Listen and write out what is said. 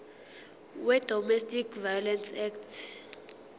wedomestic violence act